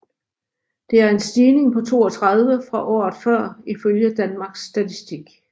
Det er en stigning på 32 fra året før ifølge Danmarks Statistik